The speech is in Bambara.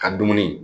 Ka dumuni